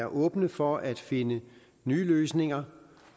og åbne for at finde ny løsninger